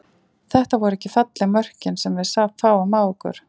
Þetta voru ekki falleg mörkin sem við fáum á okkur.